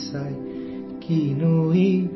ಖೋಲ್ ಕರ್ ದೇಖಾ ಕುಮ್ಹಾರಾ ಕೇ ಝೋಲೇ ಕೋ ತೋ